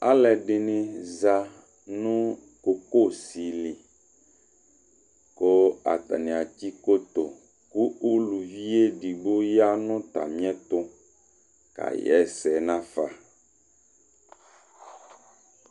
ɑluɛdinizɑ nuçoçoli ku ɑtɑnia tsiçoto ωlωʋiɛɖigbo ƴɑŋɑtɑmiɛtu kɑyɛsɛ nɑƒɑ